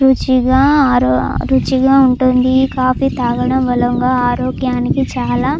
రుచిగా ఆరో రుచిగా ఉంటుంది ఈ కాఫీ తాగడం వలన ఆరోగ్యానికి చాలా --